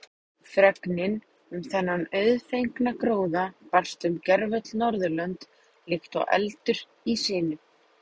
Fregnin um þennan auðfengna gróða barst um gervöll Norðurlönd líkt og eldur í sinu.